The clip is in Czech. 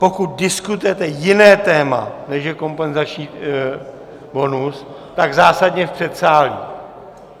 Pokud diskutujete jiné téma, než je kompenzační bonus, tak zásadně v předsálí.